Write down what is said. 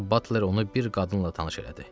Sonra da Batler onu bir qadınla tanış elədi.